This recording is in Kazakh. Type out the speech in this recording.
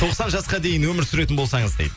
тоқсан жасқа дейін өмір сүретін болсаңыз дейді